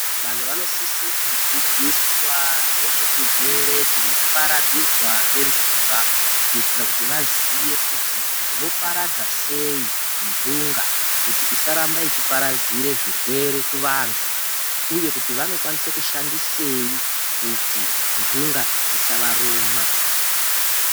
Vantu vanosisa kudzidziswa nezve chirwere chinoparadzirwa ngendunga kuitira kuti vaziye kuti voparadza sei ndunga isaramba ichiparadzira zvirwere kuvantu uye kuti vanokwanisa kushandisei kuti ndunga dzisavaruma.